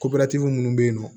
minnu bɛ yen nɔ